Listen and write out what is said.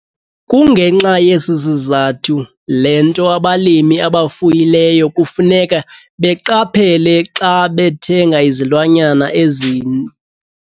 Kungenxa yesi sizathu le nto abalimi abafuyileyo kufuneka beqaphele xa bethenga izilwanyana ezitsha.